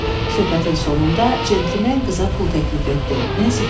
Söhbətin sonunda centlmen qıza pul təklif etdi, Nensi götürmədi.